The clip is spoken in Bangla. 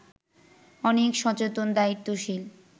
অনেক সচেতন, দায়িত্বশীল